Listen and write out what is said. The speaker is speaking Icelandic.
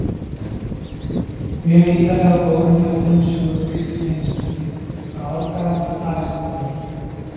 Mjög ítarleg og góð umfjöllun um sögu grískrar heimspeki frá árdaga til Aristótelesar.